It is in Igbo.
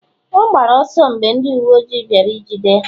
ọ gbara ọsọ mgbe ndị uwe ojii bịara ijide ya?